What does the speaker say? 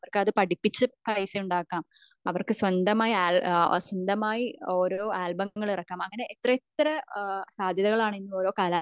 അവർക്ക് അത് അപിടിപ്പിച്ച പൈസ ഉണ്ടാക്കാം അവർക്ക് സ്വന്തമായി ഓരോ ആൽബങ്ങൾ ഇറക്കാം അങ്ങനെ എത്ര എത്ര സാദ്ധ്യതകൾ ആണ്